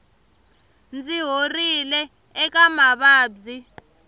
ndzi horile eka mavabyi